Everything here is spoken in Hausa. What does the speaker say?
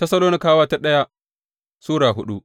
daya Tessalonikawa Sura hudu